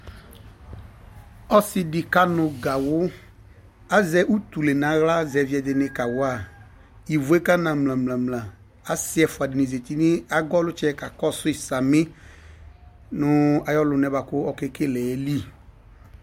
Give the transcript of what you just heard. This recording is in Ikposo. Ɔsɩɖɩ ƙanʋ gawʋ ,azɛ utule nʋ aɣla zɛvɩ ɛɖɩnɩ ƙawa ,ivueƙanamlamla Asɩ ɛƒʋaɖɩnɩ zati n'agɔlʊtsɛ ƙaƙɔsʊɩ samɩ nʋ aƴɔlʊnɛ bʋaƙʊ oƙeƙeleeli